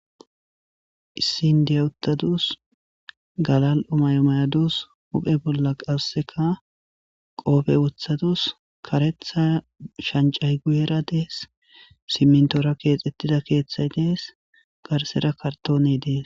Issi indiya utadus galal'o mayo mayadus huuphe bolla kaseka qoophe wothadus kareta shanchay guyera de'es simintora keetetida keethay dees garsera kartone de'es.